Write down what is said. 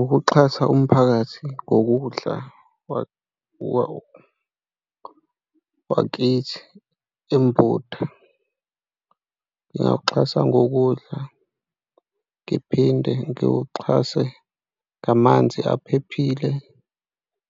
Ukuxhasa umphakathi ngokudla wakithi embuda ngingawuxhasa ngokudla, ngiphinde ngiwuxhase ngamanzi aphephile,